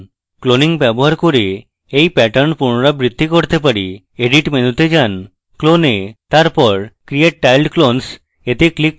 cloning ব্যবহার করে we pattern পুনরাবৃত্তি করতে পারি edit মেনুতে যান clone we তারপর create tiled clones we click করুন